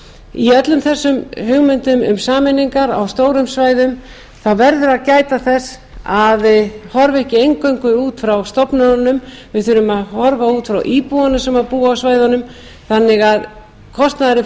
í öllum þessum hugmyndum um sameiningar á stórum svæðum þá verðum við að gæta þess að horfa ekki eingöngu út frá stofnununum við þurfum að horfa út frá íbúunum sem búa á svæðunum þannig að kostnaðurinn